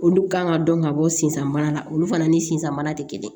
Olu kan ka dɔn ka bɔ sen sanbana la olu fana ni sisan baara tɛ kelen ye